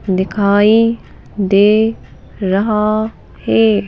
दिखाई दे रहा है।